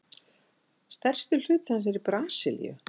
Stærstur hluti hans er í Brasilíu.